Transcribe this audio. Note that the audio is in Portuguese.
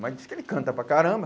Mas diz que ele canta para caramba.